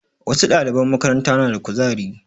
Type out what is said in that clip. Wasu ɗaliban makaranta na da ƙuzari.